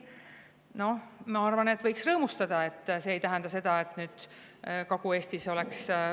Noh, ma arvan, et võiks rõõmustada, et see ei tähenda seda, et Kagu-Eestis oleks …